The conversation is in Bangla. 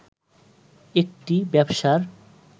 একটি ব্যবসার